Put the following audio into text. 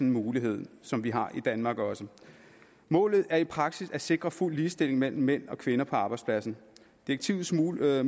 en mulighed som vi også har i danmark målet er i praksis at sikre fuld ligestilling mellem mænd og kvinder på arbejdspladsen direktivets muligheder